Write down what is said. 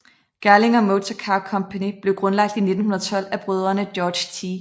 Gerlinger Motor Car Company blev grundlagt i 1912 af brødrende George T